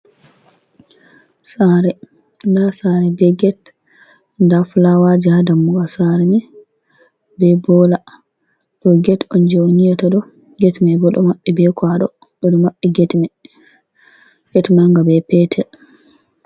Sare, nda sare be get, nda fulawaji ha dammugal sare me be bola, ɗo get on je on yiyata ɗo get mai bo ɗo maɓɓi be kwaɗo, ɓe ɗo maɓɓi get manga, be petel.